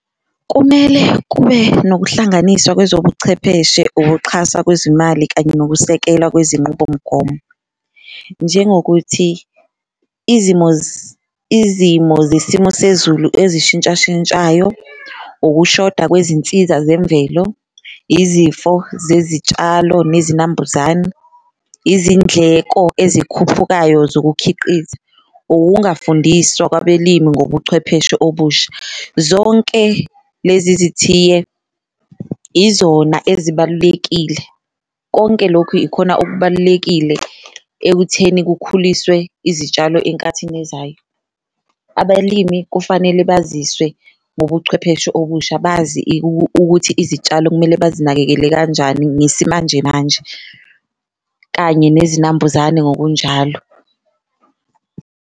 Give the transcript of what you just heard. Kumele kube nokuhlanganiswa kwezobuchepheshe, ukuxhasa kwezimali kanye nokusekelwa kwezinqubomgomo, njengokuthi izimo izimo zesimo sezulu ezishintshashintshayo. Ukushoda kwezinsiza zemvelo, izifo zezitshalo nezinambuzane, izindleko ezikhuphukayo zokukhiqiza, ungafundiswa kwabelimi ngobuchwepheshe obusha. Zonke lezi zithiye izona ezibalulekile konke lokhu ikhona okubalulekile ekutheni kukhuliswe izitshalo enkathini ezayo. Abalimi kufanele baziswe ngobuchwepheshe obusha bazi ukuthi izitshalo kumele bazinakekele kanjani ngesimanjemanje kanye nezinambuzane ngokunjalo.